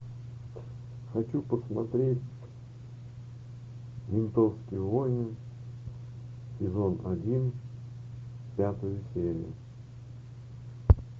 хочу посмотреть ментовские войны сезон один пятая серия